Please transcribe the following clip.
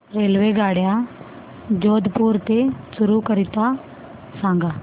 रेल्वेगाड्या जोधपुर ते चूरू करीता सांगा